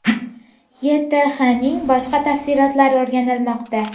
YTHning boshqa tafsilotlari o‘rganilmoqda.